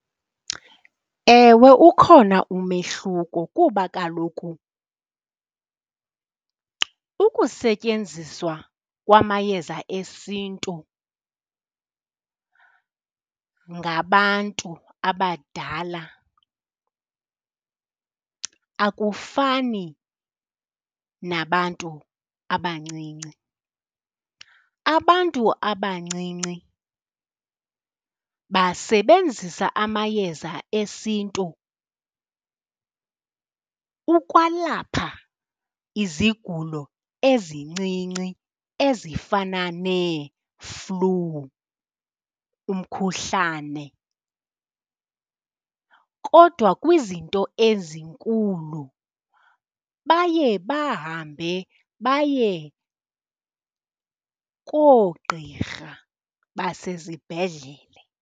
Ewe, ukhona umehluko kuba kaloku ukusetyenziswa kwamayeza esiNtu ngabantu abadala akufani nabantu abancinci. Abantu abancinci basebenzisa amayeza esiNtu ukwalapha izigulo ezincinci ezifana neeflu, umkhuhlane, kodwa kwizinto ezinkulu baye bahambe baye koogqirha basezibhedlele.